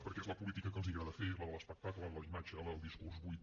perquè és la política que els agrada fer la de l’espectacle la de la imatge la del discurs buit